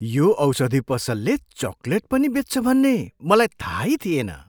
यो औषधि पसलले चकलेट पनि बेच्छ भन्ने मलाई थाहै थिएन!